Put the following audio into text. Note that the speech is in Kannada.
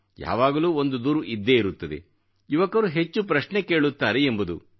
ಯಾವಾಗಲೂ ಒಂದು ದೂರು ಇದ್ದೇ ಇರುತ್ತದೆ ಯುವಕರು ಹೆಚ್ಚು ಪ್ರಶ್ನೆ ಕೇಳುತ್ತಾರೆ ಎಂಬುದು